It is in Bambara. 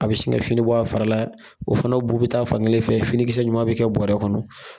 A bɛ sin ka fini bɔ a fara la, o fana bu bɛ taa fan kelen fɛ fini kisɛ ɲuman bɛ kɛ bɔrɛ kɔnɔ.